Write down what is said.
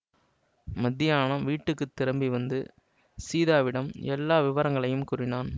மத்தியானம் வீட்டுக்கு திரும்பி வந்து சீதாவிடம் எல்லா விவரங்களையும் கூறினான்